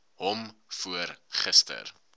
hom voor gister